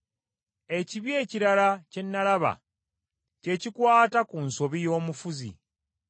Ekibi ekirala kye nalaba, kye kikwata ku nsobi y’omufuzi: